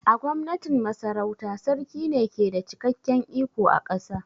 A Gwamnatin Masarauta, Sarki ne ke da cikakken iko a ƙasa